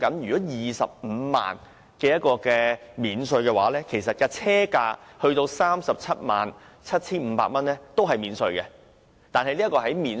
以 250,000 元的稅務寬減計算，車價不高於 377,500 元的電動車是免稅的。